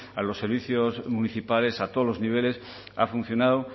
a los servicios municipales a todos los niveles ha funcionado